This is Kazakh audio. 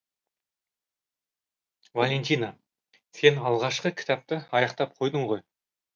валентина сен алғашқы кітапты аяқтап қойдың ғой